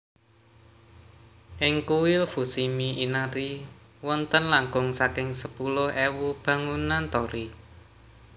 IngKuil Fushimi Inari wonten langkung saking sepuluh ewu bangunan torii